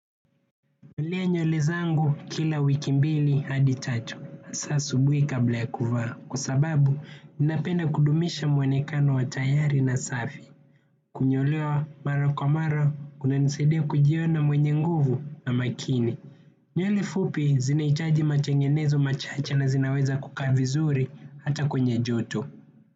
Nalea nywele zangu kila wiki mbili hadi tatu. Hasa asubuhi kabla ya kuvaa. Kwa sababu napenda kudumisha mwonekano wa yayari na safi. Kunyolewa mara kwa mara, kunanisaidia kujiona mwenye nguvu na makini. Nywele fupi zinaitaji matengenezo machache na zinaweza kukaa vizuri hata kwenye joto.